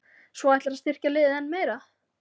Svo ætlarðu að styrkja liðið enn meira?